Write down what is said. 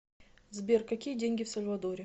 сбер какие деньги в сальвадоре